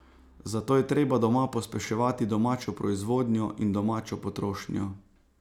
Zato je treba doma pospeševati domačo proizvodnjo in domačo potrošnjo.